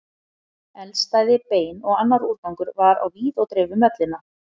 Eldstæði, bein og annar úrgangur var á víð og dreif um vellina.